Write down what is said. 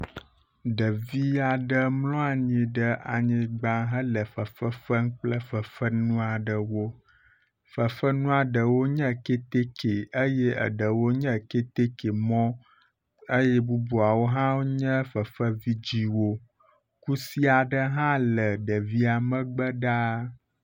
Ɖevi aɖe mlɔ anyi ɖe anyigba hele fefe fem kple fefenu aɖewo. Fefenu aɖewo nye kɛtɛkɛ eye aɖewo nye kɛtɛkɛ mɔ eye bubuawo hã nye fefe vidziwo. Kusi aɖe hã le ɖevia megbe ɖaa.